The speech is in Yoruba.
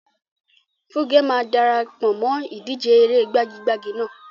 Funke máa dara pọ̀ mọ́ ìdíje eré gbagi-gbagi náà.